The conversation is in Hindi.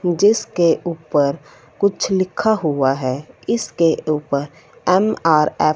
जिसके ऊपर कुछ लिखा हुआ है इसके ऊपर एम_आर_एफ --